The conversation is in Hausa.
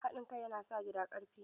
Haɗin kai yana sa gida ƙarfi.